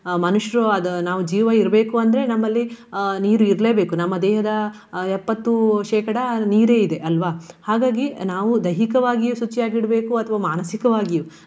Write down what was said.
ಮನುಷ್ಯರವಾದ ನಾವು ಜೀವ ಇರ್ಬೇಕು ಅಂದ್ರೆ ನಮ್ಮಲ್ಲಿ ಅಹ್ ನೀರು ಇರ್ಲೇಬೇಕು. ನಮ್ಮ ದೇಹದ ಅಹ್ ಎಪ್ಪತ್ತು ಶೇಕಡ ನೀರೆ ಇದೆ ಅಲ್ವಾ. ಹಾಗಾಗಿ ನಾವು ದೈಹಿಕವಾಗಿಯೂ ಶುಚಿಯಾಗಿಡ್ಬೇಕು ಅಥವಾ ಮಾನಸಿಕವಾಗಿಯೂ.